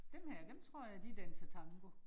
Dem her dem tror jeg de danser tango